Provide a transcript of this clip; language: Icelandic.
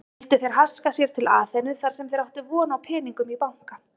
Vildu þeir haska sér til Aþenu þarsem þeir áttu von á peningum í banka.